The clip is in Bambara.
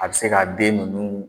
A bɛ se ka den ninnu